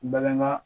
Bagan ŋa